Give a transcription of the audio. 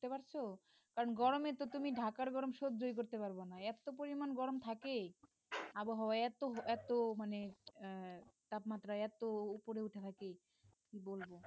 বুঝতে পারছ কারণ গরমে তো তুমি ঢাকার গরম সহ্য ই করতে পারব না এত পরিমান গরম থাকে আবহাওয়া এত এত মানে আহ তাপমাত্রা এত উপরে উঠে থাকে কি বলবো